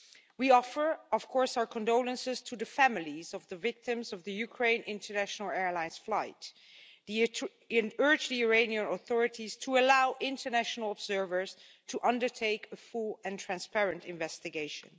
We offer, of course, our condolences to the families of the victims of the Ukraine International Airlines flight and urge the Iranian authorities to allow international observers to undertake a full and transparent investigation.